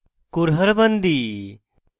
kurhad bandi